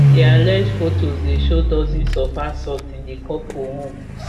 di allege fotos dey show dozens of assaults in di couple home